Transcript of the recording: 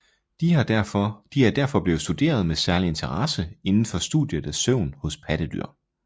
De er derfor blevet studeret med særlig interesse indenfor studiet af søvn hos pattedyr